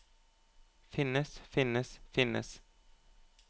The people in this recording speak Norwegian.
finnes finnes finnes